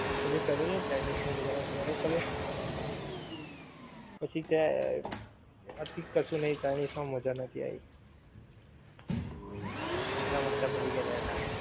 અરે કરેલો ને ચાઇનિજ નો order નો તો કર્યો? પછી તે, હા ઠીક, કશું નહિ ચાઇનિજ માં મજા નહોતી આવી. પૈસા માથે પડી ગ્યા હતા એનાં